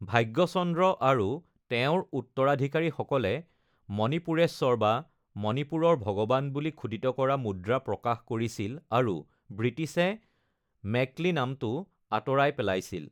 ভাগ্যচন্দ্ৰ আৰু তেওঁৰ উত্তৰাধিকাৰীসকলে মণিপুৰেশ্বৰ বা মণিপুৰৰ ভগৱান বুলি খোদিত কৰা মুদ্ৰা প্ৰকাশ কৰিছিল আৰু ব্ৰিটিছে মেকলি নামটো আঁতৰাই পেলাইছিল।